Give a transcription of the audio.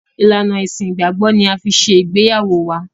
Ìlànà Ẹṣin ìgbàgbọ́ ni a fi ṣe ìgbéyàwó wá.